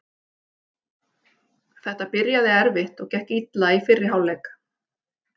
Þetta byrjaði erfitt og gekk illa í fyrri hálfleik.